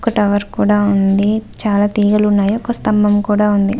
ఒక టవర్ కూడా ఉంది చాలా తీగలు ఉనాయి ఒక స్తంభం కూడా ఉంది.